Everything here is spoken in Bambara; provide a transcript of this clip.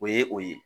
O ye o ye